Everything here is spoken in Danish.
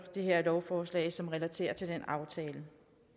det her lovforslag som relaterer sig til den aftale